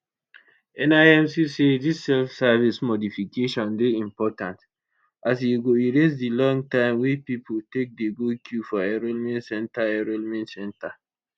nimc say dis selfservice modifications dey important as e go erase di long time wey pipo take dey go queue for enrolment centre enrolment centre